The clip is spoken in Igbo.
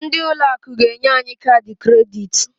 Ndị ụlọ akụ ga-enye anyị kaadị kredit.